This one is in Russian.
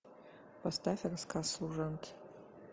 поставь рассказ служанки